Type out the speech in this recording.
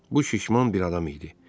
Bu şişman bir adam idi.